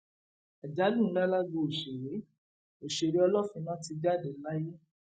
àjálù ńlá lágbo òṣèré òṣèré ọlọfínà ti jáde láyé